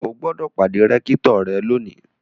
O gbọ́dọ̀ pàdé rẹ́kítọ̀ lónìí!